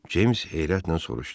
James heyrətlə soruşdu.